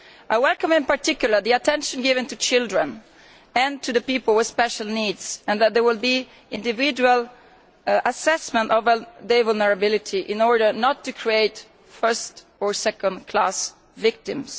I welcome in particular the attention given to children and to people with special needs and that there will be an individual assessment of their vulnerability so as not to create first or second class victims.